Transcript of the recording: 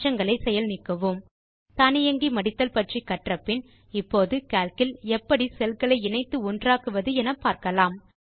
மாற்றங்களை செயல் நீக்குவோம் தானியங்கி மடித்தல் பற்றி கற்றபின் இப்போது கால்க் இல் எப்படி செல் களை இணைத்து ஒன்றாக்குவது என்று பார்க்கலாம்